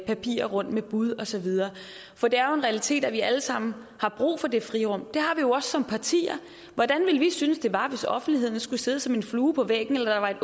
papirer rundt med bud og så videre for det er jo en realitet at vi alle sammen har brug for det frirum og som partier hvordan ville vi synes det var hvis offentligheden skulle sidde som en flue på væggen eller der var et